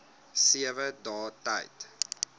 sewe dae tyd